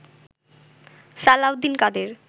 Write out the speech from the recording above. Salauddin Quader